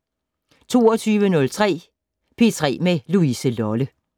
22:03: P3 med Louise Lolle